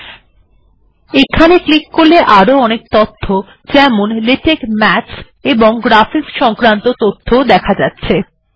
আপনি এখানে ক্লিক করতে পারেন অনেক প্রকারের তথ্য দেখা যাচ্ছে যেমন লেটেক্স মাথস এবং গ্রাফিক্স সংক্রান্ত তথ্য দেখা যাচ্ছে